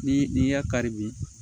Ni n'i y'a kari bi